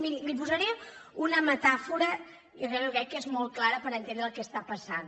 miri li posaré una metàfora que jo crec que és molt clara per entendre el que està passant